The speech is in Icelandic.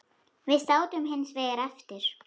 Við sátum hins vegar eftir.